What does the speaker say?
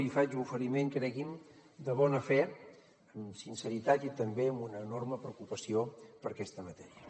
li faig l’oferiment cregui’m de bona fe amb sinceritat i també amb una enorme preocupació per aquesta matèria